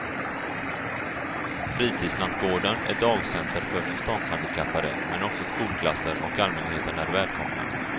Fritidslantgården är dagcenter för förståndshandikappade men också skolklasser och allmänheten är välkomna.